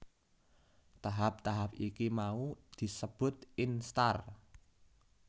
Tahap tahap iki mau sebut instar